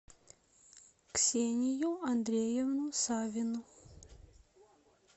ксению андреевну савину